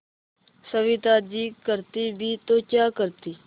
सविता जी करती भी तो क्या करती